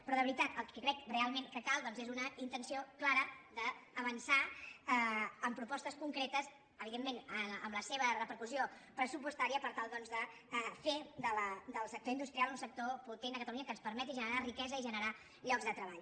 però de veritat el que crec realment que cal doncs és una intenció clara d’avançar amb propostes concretes evidentment amb la seva repercussió pressupostària per tal doncs de fer del sector industrial un sector potent a catalunya que ens permeti generar riquesa i generar llocs de treball